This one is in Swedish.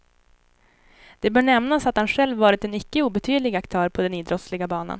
Det bör nämnas att han själv varit en icke obetydlig aktör på den idrottsliga banan.